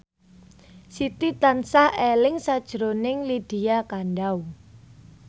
Siti tansah eling sakjroning Lydia Kandou